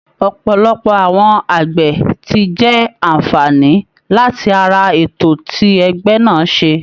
Ọ̀pọ̀lọpọ̀ àwọn àgbẹ̀ ti jẹ àǹfààní láti ara ètò tí ẹgbẹ́ náà ṣe